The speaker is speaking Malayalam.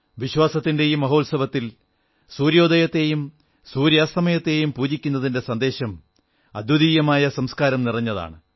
വിശ്വാസത്തിന്റെ ഈ മഹോത്സവത്തിൽ സൂര്യോദയത്തെയും സൂര്യാസ്തമയത്തെയും പൂജിക്കുന്നതിന്റെ സന്ദേശം അദ്വിതീയമായ സംസ്കാരം നിറഞ്ഞതാണ്